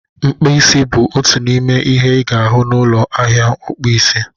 Mkpasi bụ otu n'ime ihe ị ga-ahụ na ụlọ ahịa ọkpụ isi